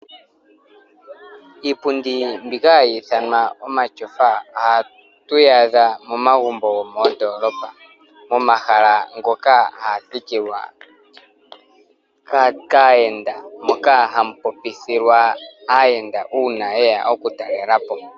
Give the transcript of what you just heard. Iipundi mbika hayi ithanwa omashofa oha tuyi adha momagumbo gomoondolopa, momahala ngoka haga thikilwa kaayenda, moka hamu popithilwa aayenda una yeya oku talelapo.